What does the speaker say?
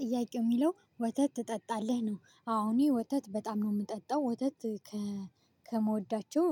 ጥያቄ የሚለው ወተት ትጠጣለህ? ነው አዎ እኔ ወተት በጣም ነው የምጠጣው። ወተት ከመወዳቸው